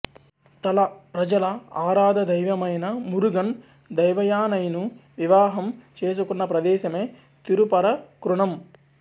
తళ ప్రజల ఆరాధదైవమైన మురుగన్ దేవయానైను వివహం చేసుకున్న ప్రదేశమే తిరుపరకున్రమ్